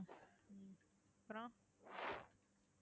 அப்புறம்